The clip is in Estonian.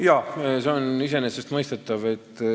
Jaa, see on iseenesestmõistetav.